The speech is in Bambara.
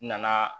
N nana